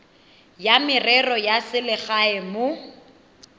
ya merero ya selegae mo